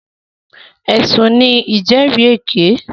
Ẹ̀sùn ní ìjẹ́rìèké.